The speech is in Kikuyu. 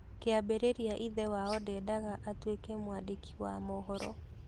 Kĩambĩrĩria ithe wao ndendaga atuĩke mwandĩki wa mohoro.